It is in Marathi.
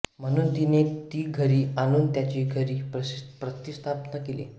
म्हणुन तिने ती घरी आणुन त्याची घरी प्रतीस्थापना केली